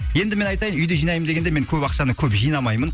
енді мен айтайын үйде жинаймын дегенде мен көп ақшаны көп жинамаймын